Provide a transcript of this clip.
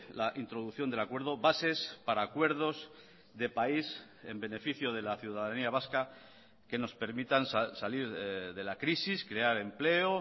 la introducción del acuerdo bases para acuerdos de país en beneficio de la ciudadanía vasca que nos permitan salir de la crisis crear empleo